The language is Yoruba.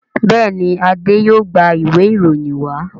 Béèni Ade yóò gbà Ìwé ìròyìn wa.